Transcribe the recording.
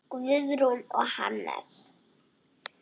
Guðrún og Hannes.